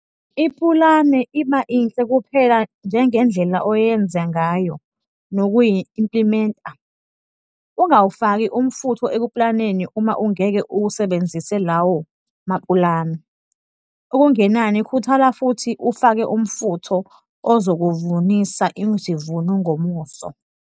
Ipulane iba inhle kuphela njengendlela oyenze ngayo nokuyi-implimenta. Ungawufaki umfutho ekupulaneni uma ungeke uwasebenzise lawo mapulane. Okungenani khuthala futhi ufake umfutho ozokuvunisa izivuno ngomuso.